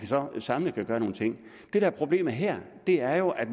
samlet kan gøre nogle ting det der er problemet her er jo at